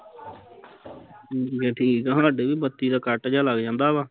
ਅਹ ਠੀਕ ਆ ਸਾਡੇ ਵੀ ਬੱਤੀ ਦਾ ਕੱਟ ਜਿਹਾ ਲੱਗ ਜਾਂਦਾ ਵਾ